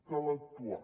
cal actuar